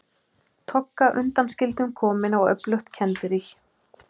Togga undanskildum komin á öflugt kenderí.